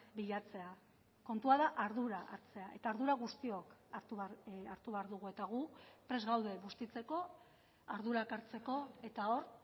bilatzea kontua da ardura hartzea eta ardura guztiok hartu behar dugu eta gu prest gaude bustitzeko ardurak hartzeko eta hor